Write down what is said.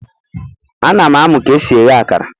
Ana m amu ka esi fry akara